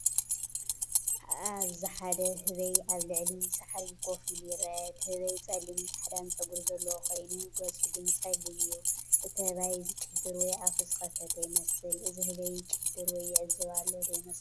ኣብዚ ሓደ ህበይ ኣብ ልዕሊ ሳዕሪ ኮፍ ኢሉ ይርአ። እቲ ህበይ ጸሊምን ጻዕዳን ጸጉሪ ዘለዎ ኮይኑ፡ ገጹ ግን ጸሊም እዩ። እቲ ኣህባይ ዝጭድር ወይ ኣፉ ዝኸፈተ ይመስል። እዚ ህበይ ይጭድር ወይ ይዕዘብ ኣሎ ዶ ይመስለኩም?